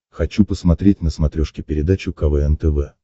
хочу посмотреть на смотрешке передачу квн тв